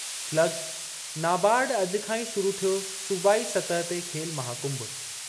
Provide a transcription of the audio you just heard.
slug– NABARD अॼु खां ई शुरू थियो सूबाई सतह ते खेल महाकुंभ...